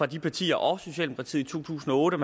de partier også socialdemokratiet i to tusind og otte